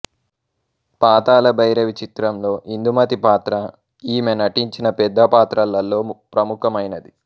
పాతాళ భైరవి చిత్రంలో ఇందుమతి పాత్ర ఈమె నటించిన పెద్ద పాత్రలలో ప్రముఖమైనది